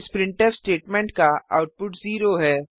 इस printf statement का output 0 है